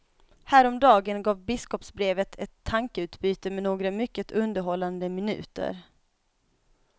Häromdagen gav biskopsbrevet ett tankeutbyte med några mycket underhållande minuter.